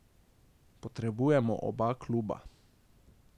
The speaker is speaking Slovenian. Potrebujemo oba kluba.